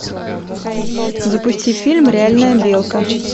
запусти фильм реальная белка